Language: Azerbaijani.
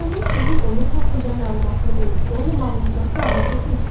Bu qanun sizin onun haqqında məlumatlı olub-olmamağınızla fəaliyyətə keçmir.